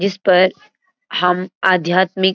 जिस पर हम आध्यात्मिक --